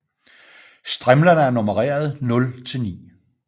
Strimlerne er nummereret 0 til 9